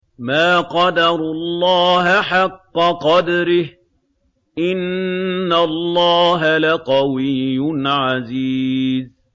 مَا قَدَرُوا اللَّهَ حَقَّ قَدْرِهِ ۗ إِنَّ اللَّهَ لَقَوِيٌّ عَزِيزٌ